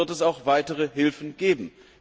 Dann wird es auch weitere Hilfen geben.